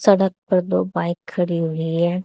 सड़क पर दो बाइक खड़ी हुई है।